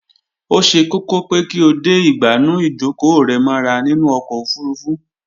Ó ṣe kókó pé kí o de ìgbànú ìjókòó rẹ mọ́ra nínú ọkọ̀ ofurufú